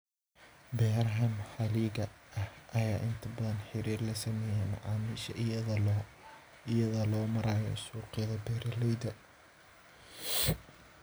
Beeraha maxalliga ah ayaa inta badan xiriir la sameeya macaamiisha iyada oo loo marayo suuqyada beeralayda.